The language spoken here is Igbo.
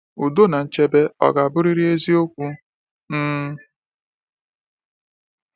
Udo na nchebe ọ ga-abụrịrị eziokwu? um